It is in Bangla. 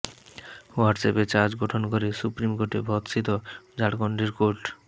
হোয়াটস্অ্যাপে চার্জ গঠন করে সুপ্রিম কোর্টে ভর্ৎসিত ঝাড়খণ্ডের কোর্ট